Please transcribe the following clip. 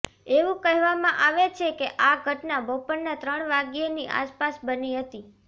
એવું કહેવામાં આવે છે કે આ ઘટના બપોરનાં ત્રણ વાગ્યેની આસપાસ બની હતી